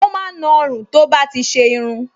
Ó máa ń na ọrùn tó bá ti ṣe irun